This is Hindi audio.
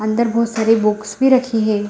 अंदर बहुत सारी बुक्स भी रखी है।